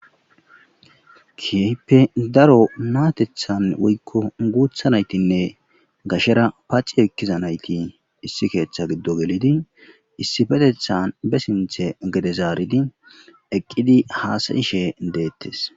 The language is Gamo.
kehiipe daro naatethan woykko guutha naytinne gashera paaci ekkiza nayti issi keeththa giddo gelidi issetethan be sinthe gedezaaridi eqqidi haasayishe deettes